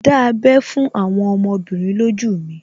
Dá abẹ́ fún àwọn ọmọbìnrin lójú mi